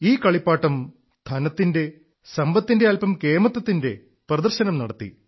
ഈ കളിപ്പാട്ടം ധനത്തിന്റെ സമ്പത്തിന്റെ അല്പം കേമത്തത്തിന്റെ പ്രദർശനം നടത്തി